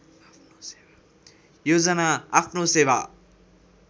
योजना आफ्नो सेवा